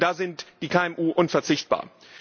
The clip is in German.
Und da sind die KMU unverzichtbar.